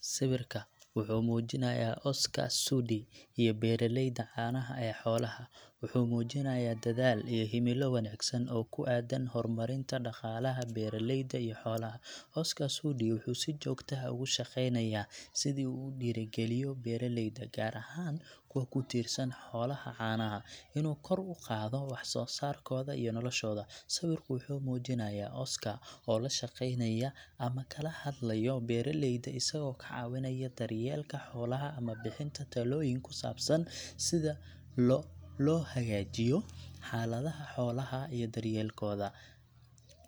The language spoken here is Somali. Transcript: Sawirka waxuu muujinaya Oscar Sudi iyo beeraleyda caanaha ee xoolaha, wuxuu muujinayaa dadaal iyo himilo wanaagsan oo ku aaddan horumarinta dhaqaalaha beeraleyda iyo xoolaha. Oscar Sudi wuxuu si joogto ah uga shaqeynayaa sidii uu u dhiirrigeliyo beeraleyda, gaar ahaan kuwa ku tiirsan xoolaha caanaha, inuu kor u qaado wax soo saarkooda iyo noloshooda. Sawirku wuxuu muujinayaa Oscar oo la shaqeynaya ama kala hadlayo beeraleyda, isagoo ka caawinaya daryeelka xoolaha ama bixinta talooyin ku saabsan sida loo hagaajiyo xaaladaha xoolaha iyo daryeelkooda.